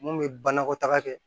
Mun bɛ banakɔtaga kɛ